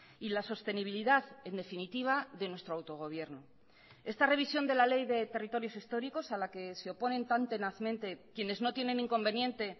y la sostenibilidad en definitiva de nuestro autogobierno esta revisión de la ley de territorios históricos a la que se oponen tan tenazmente quienes no tienen inconveniente